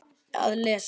Að lesa?